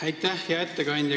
Hea ettekandja!